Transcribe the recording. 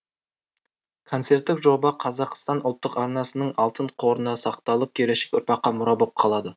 концерттік жоба қазақстан ұлттық арнасының алтын қорында сақталып келешек ұрпаққа мұра болып қалады